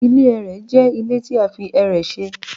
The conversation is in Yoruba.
Ile ẹrẹ jẹ ile ti a fi ẹrẹ ṣe